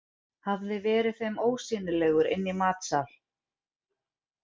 Hafði verið þeim ósýnilegur inni í matsal.